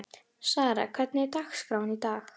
Sara, hvernig er dagskráin í dag?